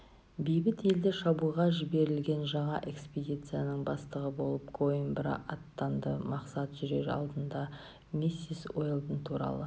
бейбіт елді шабуға жіберілген жаңа экспедицияның бастығы болып коимбра аттанды мақсат жүрер алдында миссис уэлдон туралы